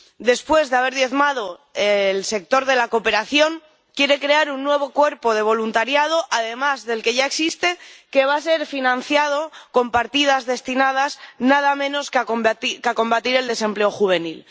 Después de haber diezmado el sector de la cooperación, quiere crear un nuevo cuerpo de voluntariado, además del que ya existe, que va a ser financiado con partidas destinadas nada menos que a combatir el desempleo juvenil.